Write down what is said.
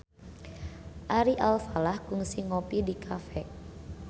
Ari Alfalah kungsi ngopi di cafe